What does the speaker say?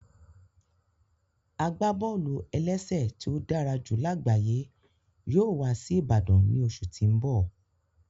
Agbábọ́ọlù-ẹlẹ́sẹ̀ tí ó dára jù lágbayé yóò wá sí Ìbàdàn ní oṣù tí n bọ